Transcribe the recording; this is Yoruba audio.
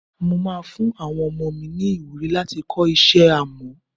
Mo máa fún àwọn ọmọ mi ni ìwúrí láti kọ́ iṣẹ́ Amọ́.